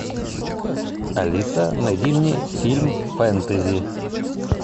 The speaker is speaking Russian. алиса найди мне фильм фэнтези